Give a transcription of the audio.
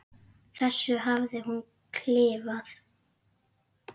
þessu hafði hún klifað.